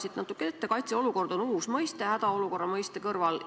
Siin on öeldud, et kaitseolukord on uus mõiste hädaolukorra mõiste kõrval.